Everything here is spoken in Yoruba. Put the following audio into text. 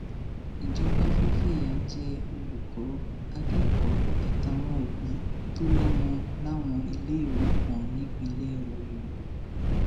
ìjọba fẹẹ fìyà jẹ olùkọ akẹkọọ àtàwọn òbí tó lọmọ láwọn iléèwé kan nípínlẹ ọyọ